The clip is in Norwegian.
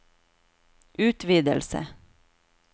utvidelse